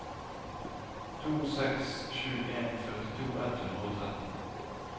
to seks sju en førtito ett hundre og tretten